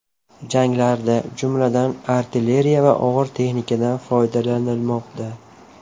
Janglarda, jumladan, artilleriya va og‘ir texnikadan foydalanilmoqda.